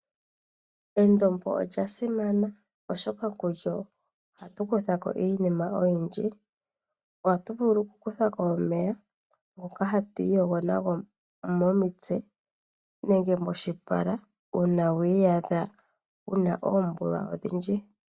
Endombo olya simana, oshoka kulyo ohatu kutha ko iinima oyindji. Oha tu vulu okukutha ko omeya ngoka hatu iyogo nago momitse, nenge moshipala uuna wa iyadha wuna oombulwa odhindji.